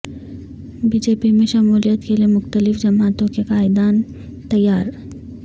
be J P میں شمولیت کے لیے مختلف جماعتوں کے قائدین تیار